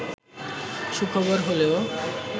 সুখবর হলেও